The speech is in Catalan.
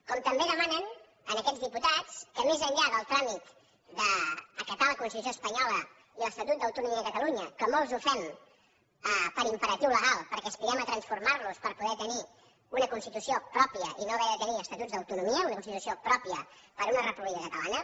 com també demanen a aquests diputats que més enllà del tràmit d’acatar la constitució espanyola i l’estatut d’autonomia de catalunya que molts ho fem per imperatiu legal perquè aspirem a transformar los per poder tenir una constitució pròpia i no haver de tenir estatuts d’autonomia una constitució pròpia per a una república catalana